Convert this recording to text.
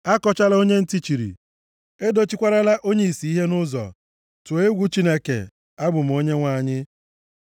“ ‘Akọchala onye ntị chiri, edochikwarala onye ìsì ihe nʼụzọ. Tụọ egwu Chineke. Abụ m Onyenwe anyị.